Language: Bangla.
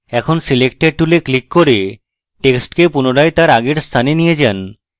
আবার selector tool click করুন এবং টেক্সটকে পুনরায় তার আগের স্থানে নিয়ে যান